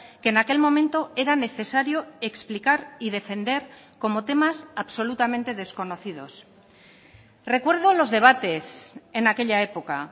que en aquel momento era necesario explicar y defender como temas absolutamente desconocidos recuerdo los debates en aquella época